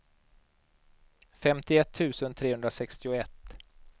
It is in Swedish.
femtioett tusen trehundrasextioett